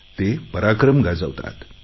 ते पराक्रम गाजवतात